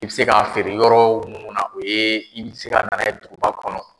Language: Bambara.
I bɛ se k k'a feere yɔrɔ mun na o ye i bɛ se ka na n'a ye duguba kɔnɔ.